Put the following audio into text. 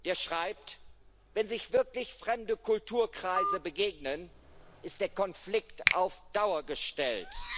Er schreibt Wenn sich wirklich fremde Kulturkreise begegnen, ist der Konflikt auf Dauer gestellt.